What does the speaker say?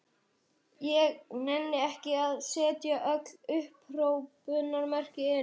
Ég nenni ekki að setja öll upphrópunarmerkin inn.